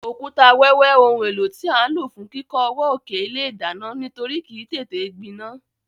Òkúta wẹ́wẹ́ oun éló tí a n ló fún kíkó ọwọ́ òkè ilé ìdánán nítorí kìí tété gbinán